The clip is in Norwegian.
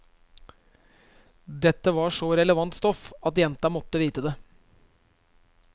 Dette var så relevant stoff at jenta måtte vite det.